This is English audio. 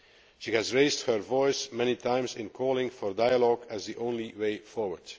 She has raised her voice many times in calling for dialogue as the only way forward.